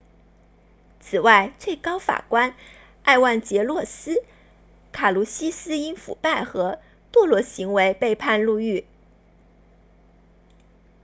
此外最高法官埃万杰洛斯卡卢西斯因腐败和堕落行为被判入狱